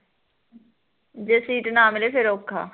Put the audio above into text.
ਜੇ ਸੀਟ ਨਾ ਮਿਲੇ ਫਿਰ ਔਖਾ